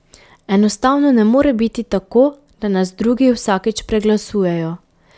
Enostavno ne more biti tako, da nas drugi vsakič preglasujejo.